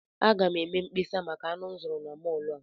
Aga m eme mkpesa maka anụ m zụrụ na mọọlụ a.